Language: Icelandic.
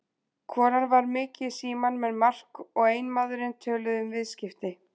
Konan var mikið í símanum en Mark og eiginmaðurinn töluðu um viðskipti.